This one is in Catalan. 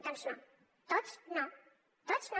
doncs no tots no tots no